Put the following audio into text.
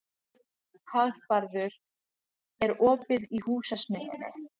Hagbarður, er opið í Húsasmiðjunni?